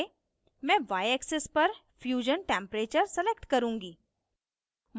y: मैं yaxis पर fusion temprature select करुँगी